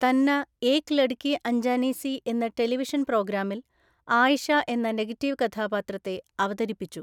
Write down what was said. തന്ന ഏക് ലഡ്‌കി അഞ്ജാനി സി എന്ന ടെലിവിഷൻ പ്രോഗ്രാമിൽ ആയിഷ എന്ന നെഗറ്റീവ് കഥാപാത്രത്തെ അവതരിപ്പിച്ചു.